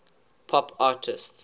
pop artists